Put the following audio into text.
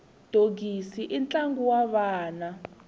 dogisi i ntlangu wa vana